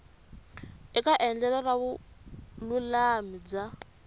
eka endlelo ra vululami bya